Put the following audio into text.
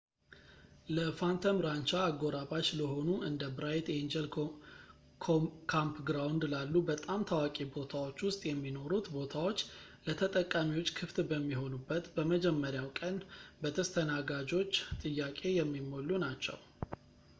ለphantom rancha አጎራባች ለሆኑ እንደ bright angel campground ላሉ በጣም ታዋቂ ቦታዎች ውስጥ የሚኖሩት ቦታዎች፣ ለተጠቃሚዎች ክፍት በሚሆኑበት በመጀመሪያው ቀን በተስተናጋጆች ጥያቄ የሚሞሉ ናቸው